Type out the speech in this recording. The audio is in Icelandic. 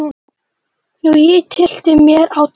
Og ég tyllti mér á tá.